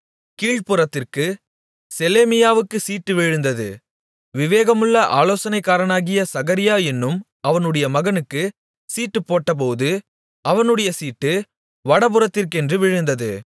கீழ்ப்புறத்திற்கு செலேமியாவுக்கு சீட்டு விழுந்தது விவேகமுள்ள ஆலோசனைக்காரனாகிய சகரியா என்னும் அவனுடைய மகனுக்கு சீட்டு போட்டபோது அவனுடைய சீட்டு வடபுறத்திற்கென்று விழுந்தது